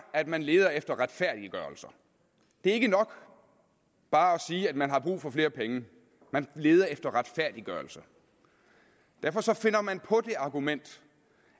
at man leder efter retfærdiggørelser det er ikke nok bare at sige at man har brug for flere penge man leder efter retfærdiggørelser derfor finder man på det argument